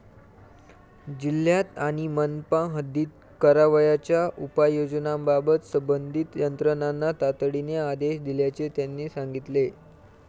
जिल्ह्यात आणि मनपा हद्दीत करावयाच्या उपाययोजनांबाबत संबंधित यंत्रणांना तातडीने आदेश दिल्याचे त्यांनी सांगितले.